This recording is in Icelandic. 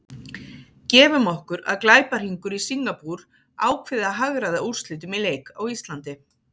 Gefum okkur að glæpahringur í Singapúr ákveði að hagræða úrslitum í leik á Íslandi.